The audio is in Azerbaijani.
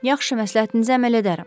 Yaxşı, məsləhətinizə əməl edərəm.